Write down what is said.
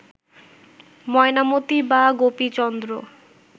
ময়নামতি বা গোপীচন্দ্র